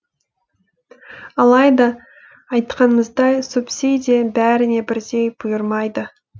алайда айтқанымыздай субсидия бәріне бірдей бұйырмайды